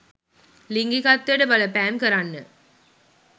ලිංගිකත්වයට බලපෑම් කරන්න